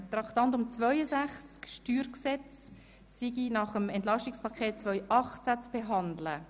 Traktandum 62 (Steuergesetz) ist nach dem Entlastungsprogramm EP 2018 zu behandeln.